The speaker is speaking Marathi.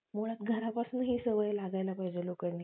ओळख घरापासून ही सवय लागायला पाहिजे लोकांनी